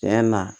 Tiɲɛ na